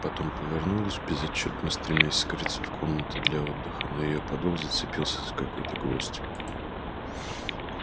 потом повернулась безотчётно стремясь скрыться в комнаты для отдыха но её подол зацепился за какой-то гвоздь